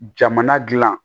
Jamana dilan